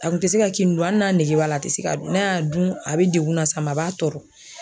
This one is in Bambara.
A kun tɛ se ka kini dun, hali n'a nege b'a la ,a tɛ se k'a dun, n'a y'a dun a bɛ degun na s'a ma a b'a tɔɔrɔ.